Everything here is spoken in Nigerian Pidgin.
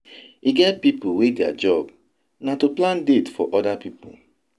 E get pipu wey their job na to plan date for other pipu.